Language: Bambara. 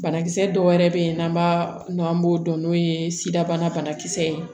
Banakisɛ dɔw wɛrɛ bɛ yen n'an b'a dɔn an b'o dɔn n'o ye sida banakisɛ ye